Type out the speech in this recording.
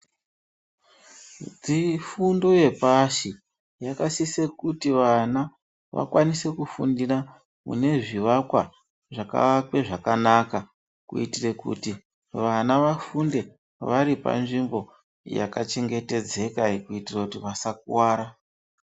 Fundo yepashi, yakasise kuti vana, vakwanise kufundire kune zvivakwa, zvakavakwe zvakanaka, kuitire kuti, vana vafunde vari panzvimbo yakachengetedzeka, kuitire kuti vasakuwara.